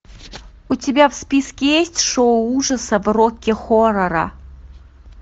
у тебя в списке есть шоу ужасов рокки хоррора